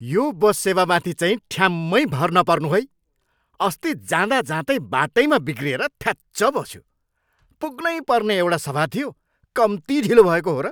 यो बस सेवामाथि चाहिँ ठ्याम्मै भर नपर्नू है। अस्ति जाँदाजाँदै बाटैमा बिग्रिएर थ्याच्च बस्यो। पुग्नैपर्ने एउटा सभा थियो, कम्ती ढिलो भएको हो र!